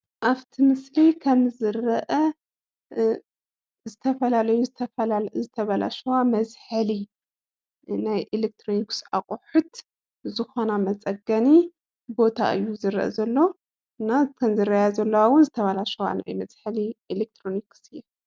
አብቲ ምስሊ ከም ዝረአ ዝተፈላለዩ ዝተበላሸዋ መዝሐሊ ናይ ኤሌክትሮኒክ አቁሑት ዝኮና መፀገኒ ቦታ እዪ ዝረአ ዘሎ እና እተን ዝረአያ ዘለዋ ዉኒ ዝተበላሸዋ መዝሐሊ ኤሌክትሮኒክስ እየን።